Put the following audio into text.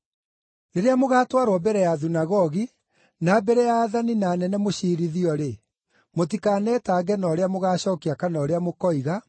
“Rĩrĩa mũgaatwarwo mbere ya thunagogi, na mbere ya aathani na anene mũciirithio-rĩ, mũtikanetange na ũrĩa mũgacookia kana ũrĩa mũkoiga,